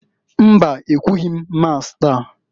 Mba! Ekwughi m Masi taa.